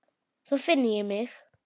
Þá finn ég mig.